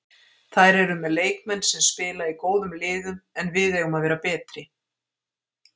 Þær eru með leikmenn sem spila í góðum liðum en við eigum að vera betri.